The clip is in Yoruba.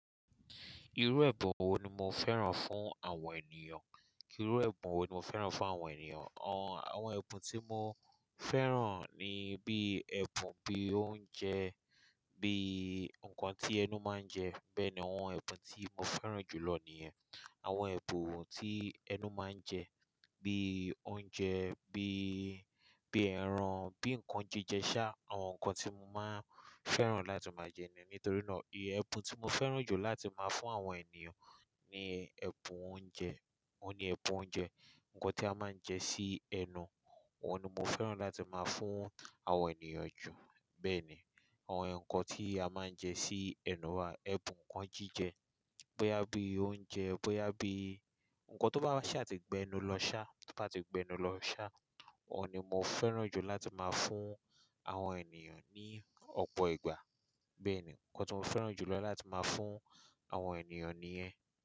Irú ẹ̀bùn wo ni mo fẹ́ràn fún àwọn ènìyàn? Irú ẹ̀bùn wo ni mo fẹ́ràn fún àwọn ènìyàn? Àwọn ẹ̀bùn tí mo fẹ́ràn ni bí ẹ̀bùn bí oúnjẹ, bí nǹkan tí ẹnu máa ń jẹ. Bẹ́ẹ̀ ni àwọn ẹ̀bùn tí mo fẹ́ràn jù lọ nìyẹn. Àwọn ẹ̀bùn tí ẹnu máa ń jẹ bí oúnjẹ, bí, bí ẹran, bí nǹkan jíjẹ ṣá. Àwọn nǹkan tí mo máa ń fẹ́ràn láti máa jẹ nìyẹn. Nítorí náà, ìyè ẹ̀bùn tí mo fẹ́ràn jù láti máa fún àwọn ènìyàn ni ẹ̀bùn oúnjẹ. Ó ní ẹ̀bùn oúnjẹ, nǹkan tí a máa ń jẹ sí ẹnu. Òun ni mo fẹ́ràn láti máa fún àwọn ènìyàn jù. Bẹ́ẹ̀ ni, àwọn nǹkan tí a máa ń jẹ sí ẹnu wa, ẹ̀bùn nǹkan jíjẹ bóyá bí oúnjẹ, bóyá bí nǹkan tó bá sì àti gbẹnu lọ ṣá, tó bá ti gbẹnu lọ ṣá, òun ni mo fẹ́ràn jù láti máa fún àwọn ènìyàn ní ọ̀pọ̀ ìgbà. Bẹ́ẹ̀ ni, nǹkan tí mo fẹ́ràn jù lọ láti máa fún àwọn ènìyàn nìyẹn.